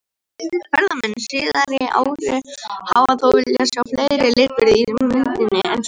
Ýmsir fræðimenn síðari ára hafa þó viljað sjá fleiri litbrigði í myndinni en svo.